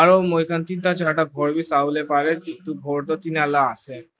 Aro moi khan ten da char da khor be sabi le bare ken tu khor tu dena la ase.